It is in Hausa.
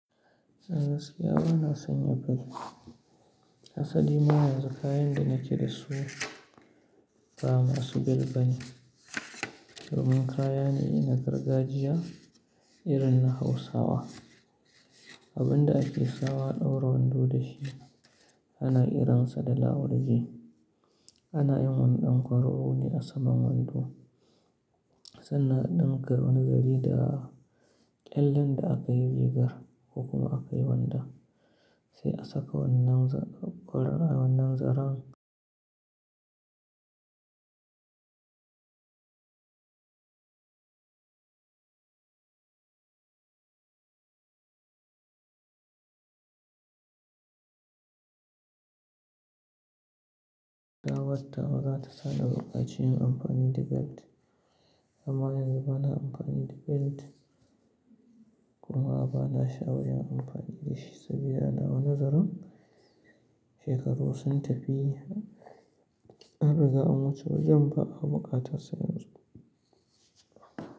Gaskiya ba na sanya belt. Hasali ma yanzu kayan da nakeda su ba masu bel ba ne. Domin kaya ne na gargajiya irin na Hausawa. Abin da ake sawa a ɗaura wando da shi ana qiransa da lawalje. Ana yin wani dan kwararo a saman wando sannan a ɗinka wani zare da ƙyallen da aka yi rigar kuma aka yi wandon sai a saka wannan zaren. Dawatta ba za ta sanya buƙaci yin amfani da belt ba. Amma yanzu ba na amfani da belt kuma ba na sha'awar yin amfani da shi saboda anawa nazarin shekaru sun tafi an riga an wuce wajen ba a buƙatar sa yanzu.